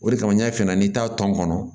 O de kama n y'a f'i ɲɛna n'i t'a tɔn kɔnɔ